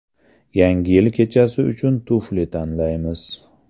Yangi yil kechasi uchun tufli tanlaymiz.